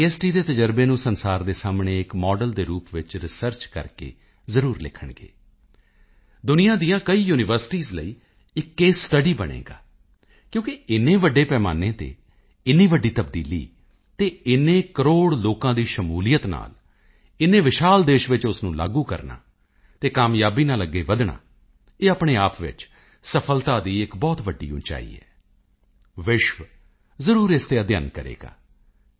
ਦੇ ਤਜ਼ਰਬੇ ਨੂੰ ਸੰਸਾਰ ਦੇ ਸਾਹਮਣੇ ਇੱਕ ਮਾਡਲ ਦੇ ਰੂਪ ਵਿੱਚ ਰਿਸਰਚ ਕਰਕੇ ਜ਼ਰੂਰ ਲਿਖਣਗੇ ਦੁਨੀਆਂ ਦੀਆਂ ਕਈ ਯੂਨੀਵਰਸਿਟੀਆਂ ਲਈ ਇੱਕ ਕੇਸ ਸਟੱਡੀ ਬਣੇਗਾ ਕਿਉਂਕਿ ਏਨੇ ਵੱਡੇ ਪੈਮਾਨੇ ਤੇ ਏਨੀ ਵੱਡੀ ਤਬਦੀਲੀ ਅਤੇ ਏਨੇ ਕਰੋੜ ਲੋਕਾਂ ਦੀ ਸ਼ਮੂਲੀਅਤ ਨਾਲ ਏਨੇ ਵਿਸ਼ਾਲ ਦੇਸ਼ ਵਿੱਚ ਉਸ ਨੂੰ ਲਾਗੂ ਕਰਨਾ ਅਤੇ ਕਾਮਯਾਬੀ ਨਾਲ ਅੱਗੇ ਵਧਣਾ ਇਹ ਆਪਣੇ ਆਪ ਵਿੱਚ ਸਫਲਤਾ ਦੀ ਇੱਕ ਬਹੁਤ ਵੱਡੀ ਉਚਾਈ ਹੈ ਵਿਸ਼ਵ ਜ਼ਰੂਰ ਇਸ ਤੇ ਅਧਿਐੱਨ ਕਰੇਗਾ ਅਤੇ ਜੀ